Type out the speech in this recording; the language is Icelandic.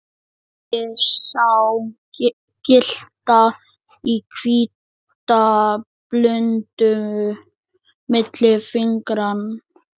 Ég sá glitta í hvíta blúndu milli fingra.